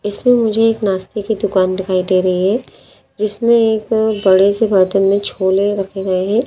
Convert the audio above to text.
इसमें मुझे एक नाश्ते की दुकान दिखाई दे रही है जिसमें एक बड़े से बर्तन में छोले रखे गए हैं।